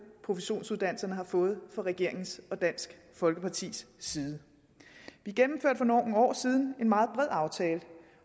professionsuddannelserne har fået fra regeringens og dansk folkepartis side vi gennemførte for nogle år siden en meget bred aftale